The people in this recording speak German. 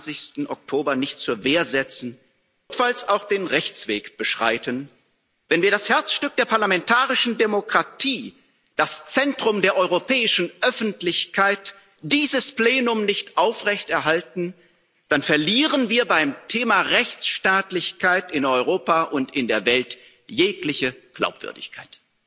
27. Oktober nicht zur Wehr setzen, notfalls auch den Rechtsweg beschreiten, wenn wir das Herzstück der parlamentarischen Demokratie, das Zentrum der europäischen Öffentlichkeit, dieses Plenum nicht aufrechterhalten, dann verlieren wir beim Thema Rechtsstaatlichkeit in Europa und in der Welt jegliche Glaubwürdigkeit.